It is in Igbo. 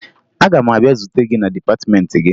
Aga m abịa zute gị na dịpatịmeentị gị